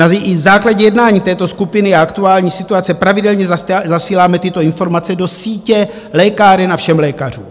Na základě jednání této skupiny a aktuální situace pravidelně zasíláme tyto informace do sítě lékáren a všem lékařům.